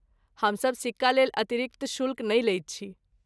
हमसभ सिक्कालेल अतिरिक्त शुल्क नहि लैत छी।